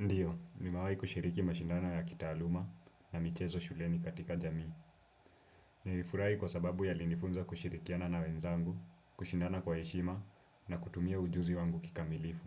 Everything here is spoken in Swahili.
Ndio, nimewahi kushiriki mashindano ya kitaaluma na michezo shuleni katika jamii. Nilifurahi kwa sababu yalinifunza kushirikiana na wenzangu, kushindana kwa heshima na kutumia ujuzi wangu kikamilifu.